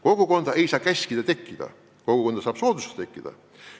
Kogukonda ei saa käskida tekkida, kogukonda saab soodustada tekkida.